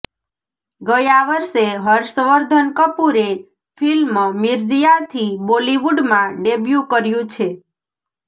ગયા વર્ષે હર્ષવર્ધન કપૂરે ફિલ્મ મિર્ઝિયાથી બોલિવૂડમાં ડેબ્યૂ કર્યુ છે